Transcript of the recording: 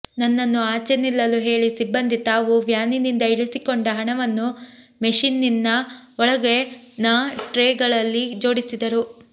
ನನ್ನನ್ನು ಆಚೆ ನಿಲ್ಲಲು ಹೇಳಿ ಸಿಬ್ಬಂದಿ ತಾವು ವ್ಯಾನಿನಿಂದ ಇಳಿಸಿಕೊಂಡ ಹಣವನ್ನು ಮೆಷಿನ್ನಿನ ಒಳಗಿನ ಟ್ರೇಗಳಲ್ಲಿ ಜೋಡಿಸಿದರು